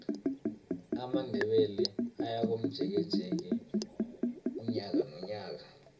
amandebele ayakomjekeje unyaka nonyaka